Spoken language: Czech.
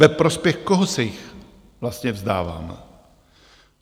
Ve prospěch koho se jich vlastně vzdáváme?